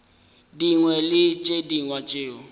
dingwe le tše dingwe tšeo